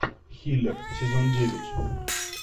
хиллер сезон девять